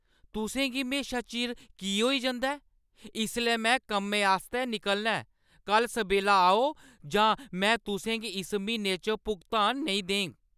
तुसें गी म्हेशा चिर की होई जंदा ऐ? इसलै में कम्मै आस्तै निकलना ऐ! कल्ल सबेल्ला आओ जां में तुसें गी इस म्हीने च भुगतान नेईं देङ।